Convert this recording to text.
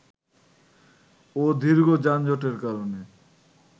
ও দীর্ঘ যানজটের কারণে